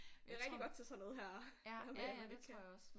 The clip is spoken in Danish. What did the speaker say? Det er rigtig godt til sådan noget her med at man ikke kan